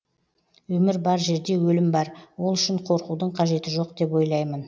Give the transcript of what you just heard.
өмір бар жерде өлім бар ол үшін қорқудың қажеті жоқ деп ойлаймын